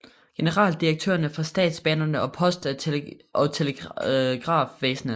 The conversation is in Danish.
Generaldirektørerne for statsbanerne og post og telegrafvæsenet